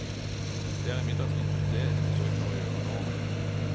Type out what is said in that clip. Det er imidlertid det de forsøker å gjøre nå.